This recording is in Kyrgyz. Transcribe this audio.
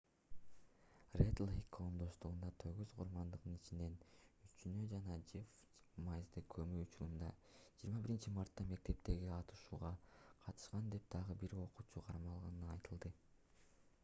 ред-лейк коомдоштугунда тогуз курмандыктын ичинен үчөөнү жана жефф вайзды көмүү учурунда 21-мартта мектептеги атышууга катышкан деп дагы бир окуучу кармалгандыгы айтылды